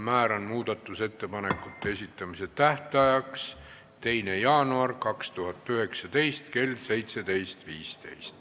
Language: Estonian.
Määran muudatusettepanekute esitamise tähtajaks 2. jaanuari 2019 kell 17.15.